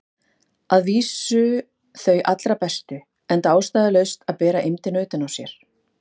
Að vísu þau allra bestu, enda ástæðulaust að bera eymdina utan á sér.